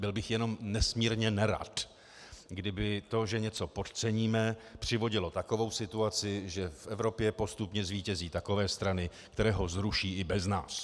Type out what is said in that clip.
Byl bych jenom nesmírně nerad, kdyby to, že něco podceníme, přivodilo takovou situaci, že v Evropě postupně zvítězí takové strany, které ho zruší i bez nás.